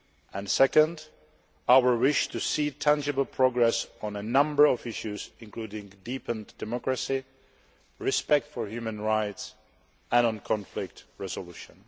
and second, our wish to see tangible progress on a number of issues, including deepened democracy, respect for human rights and conflict resolution.